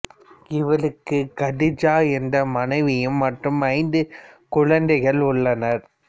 இவருக்கு கதீஜா என்ற மனைவியும் மற்றும் ஐந்து குழந்தைகள் உள்ளனர்